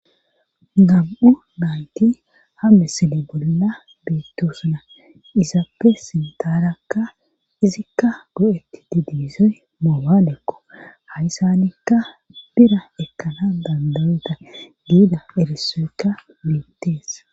Gam7u baayti hame sine bolla beettosuna izaappe sintaarakka izikka go7etti didiizoy moobaalekko hayssanikka bira ekkana bandayeta giida eresoykka biittees